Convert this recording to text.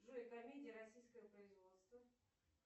джой комедия российского производства